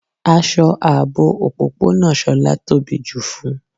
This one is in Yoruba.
Aṣọ aabò ọ̀pọ̀pọ̀nà Shọla tóbí ju fún.